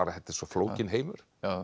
þetta er svo flókinn heimur